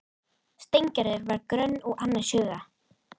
Steingerður var gröm og annars hugar.